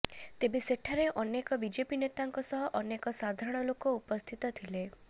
ତେବେ ସେଠାରେ ଅନେକ ବିଜେପି ନେତାଙ୍କ ସହ ଅନେକ ସାଧାରଣ ଲୋକ ଉପସ୍ଥିତ ଥିଲେ